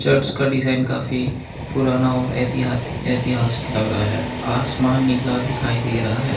But इसका design काफी पुराना और ऐतिहासिक ऐतिहासिक लग रहा है आसमान नीला दिखाई दे रहा है।